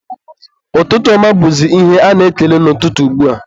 ụtụtụ ọma bụzị ihe a na-ekele n'ụtụtụ ugbua.